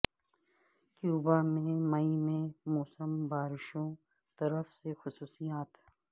Cuba میں مئی میں موسم بارشوں طرف سے خصوصیات ہے